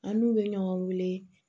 An n'u bɛ ɲɔgɔn wele